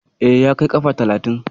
E, ya kai kafa talatin.